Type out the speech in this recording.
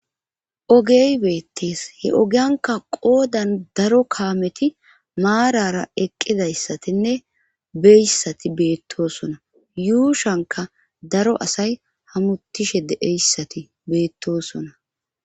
Ogey beettees he ogianka qoodan daro kaameti maarara eqqidayssatinne beyssati beettosona yuushanka daro asay hamutishe deeyssati beettosona